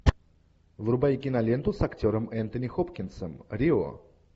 врубай киноленту с актером энтони хопкинсом рио